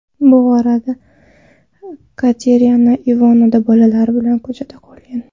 Bu orada Katerina Ivanovna bolalari bilan ko‘chada qolgan.